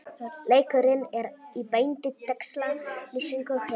Leikurinn er í beinni textalýsingu hér